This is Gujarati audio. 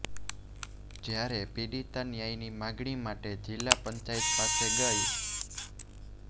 જ્યારે પીડિતા ન્યાયની માંગણી માટે જિલા પંચાયત પાસે ગઈ